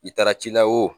I taara ci la o